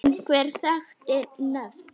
Einhver þekkt nöfn?